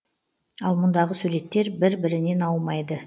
ал мұндағы суреттер бір бірінен аумайды